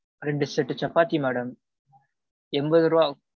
ரெண்டு set சப்பாத்தி madam. என்பது ரூபாய் ஆகும்.